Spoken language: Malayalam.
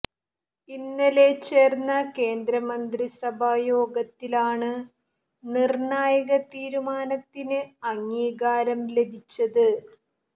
ഇന്നലെ ചേര്ന്ന കേന്ദ്രമന്ത്രിസഭാ യോഗത്തിലാണ് നിര്ണായക തീരുമാനത്തിന് അംഗീകാരം ലഭിച്ചത്